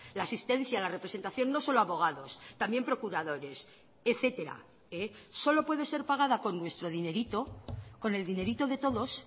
la asistencia la representación no solo abogados también procuradores etcétera solo puede ser pagada con nuestro dinerito con el dinerito de todos